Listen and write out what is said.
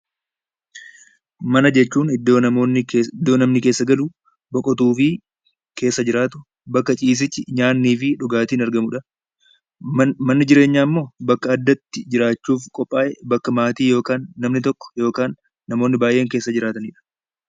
Mana jechuun iddoo namni keessa galu, boqotuu fi keessa jiraatu bakka ciisichi, nyaannii fi dhugaatiin argamudha. Manni jireenyaa ammoo bakka addatti jiraachuuf qophaa'e, bakka maatii yookaan namni tokko yookaan namoonni baay'een keessa jiraatanidha.